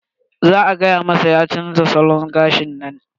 Za a fada masa ya chanza salon gashin nan.